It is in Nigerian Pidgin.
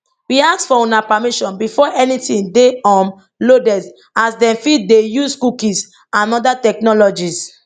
we ask for una permission before anytin dey um loaded as dem fit dey use cookies and oda technologies